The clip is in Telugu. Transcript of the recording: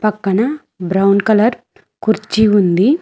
పక్కన బ్రౌన్ కలర్ కుర్చీ ఉంది.